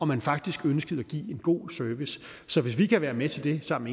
man faktisk ønskede at give en god service så hvis vi kan være med til det sammen